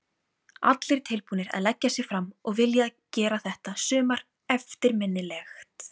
Allir tilbúnir að leggja sig fram og vilja að gera þetta sumar eftirminnilegt.